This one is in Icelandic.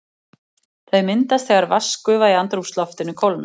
Þau myndast þegar vatnsgufa í andrúmsloftinu kólnar.